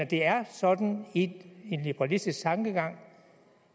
det er sådan i en liberalistisk tankegang